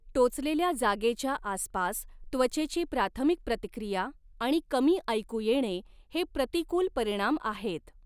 टोचलेल्या जागेच्या आसपास त्वचेची प्राथमिक प्रतिक्रिया आणि कमी ऐकू येणे हे प्रतिकूल परिणाम आहेत.